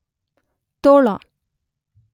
ತೋಳ